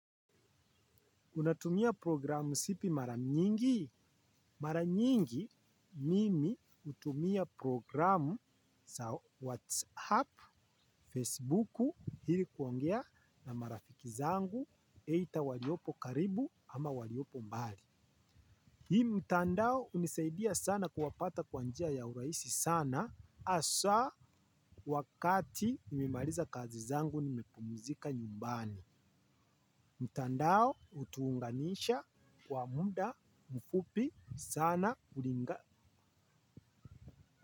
Unatumia programu sipi mara nyingi? Mara nyingi mimi utumia programu sa Whatsapp, Facebooku, ili kuongea na marafiki zangu, eitha waliopo karibu ama waliopo mbali. Hii mtandao unisaidia sana kuwapata kwa njia ya urahisi sana asa wakati nimemaliza kazi zangu nimepumuzika nyumbani. Mtandao utuunganisha kwa muda mfupi sana kulinga.